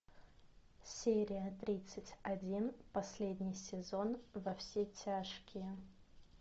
серия тридцать один последний сезон во все тяжкие